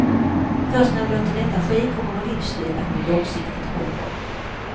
Först när vi låter detta ske kommer vår livsstil att bli långsiktigt hållbar.